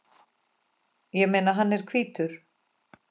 Ég meina, hann er hvítur!